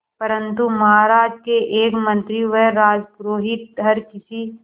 परंतु महाराज के एक मंत्री व राजपुरोहित हर किसी